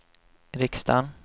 riksdagen